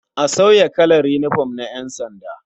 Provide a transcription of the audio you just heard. A sauya kalar yinifom na ƴansanda.